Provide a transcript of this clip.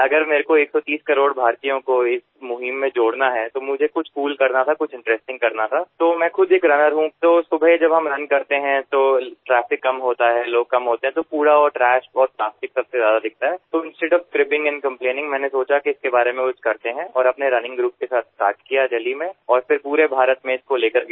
अगर मेरे को 130 करोड़ भारतीयों को इस मुहिम में जोड़ना है तो मुझे कुछ कूल करना था कुछ इंटरेस्टिंग करना था तो मैं खुद एक रनर हूँ तो सुबह जब हम रुन करते हैं तो ट्रैफिक कम होता है लोग कम होते हैं तो कूड़ा और ट्रैश और प्लास्टिक सबसे ज्यादा दिखता है तो instead of cribbing and complaining मैंने सोचा कि इसके बारे में कुछ करते है और अपने रनिंग ग्रुप के साथ स्टार्ट किया देल्ही में और फिर पूरे भारत में इसको लेकर गया